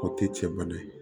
O tɛ cɛ bana ye